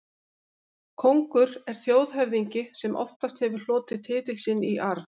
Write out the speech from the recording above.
Kóngur er þjóðhöfðingi sem oftast hefur hlotið titil sinn í arf.